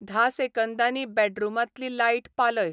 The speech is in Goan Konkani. धा सेकंदांनीं बॅडरूमांतली लायट पालय